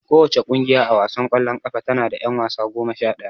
Kowace ƙungiya a wasan ƙwallon ƙafa tana da ƴan wasa goma sha ɗaya.